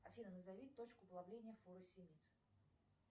афина назови точку плавления фуросемид